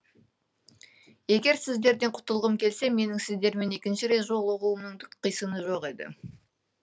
егер сіздерден құтылғым келсе менің сіздермен екінші рет жолығуымның түк қисыны жоқ еді